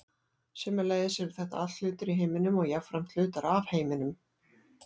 sömuleiðis eru þetta allt hlutir í heiminum og jafnframt hlutar af heiminum